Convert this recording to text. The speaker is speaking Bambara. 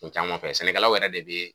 Ko caman fɛ sɛnɛkɛlaw yɛrɛ de be.